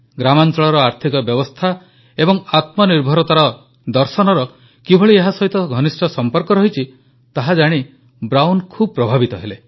ଗ୍ରାମାଂଚଳର ଆର୍ଥିକ ବ୍ୟବସ୍ଥା ଏବଂ ଆତ୍ମନିର୍ଭରତାର ଦର୍ଶନର କିଭଳି ଏହା ସହିତ ଘନିଷ୍ଠ ସମ୍ପର୍କ ରହିଛି ତାହାଜାଣି ବ୍ରାଉନ୍ ଖୁବ ପ୍ରଭାବିତ ହେଲେ